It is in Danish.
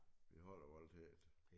Vi holder ***UF** til det